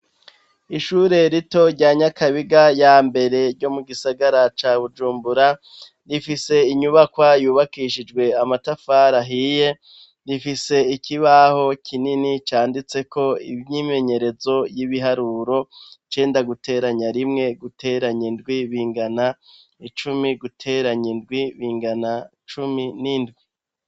Ishure rito rya nyakabiga ya mbere ryo mu gisagara ca bujumbura rifise inyubakwa yubakishijwe amatafari ahiye, rifise ikibaho kinini canditse ko imyimenyerezo y'ibiharuro cenda guteranya rimwe guteranya indwi bingana icumi guteranya indwi bingana cumi n'indwi.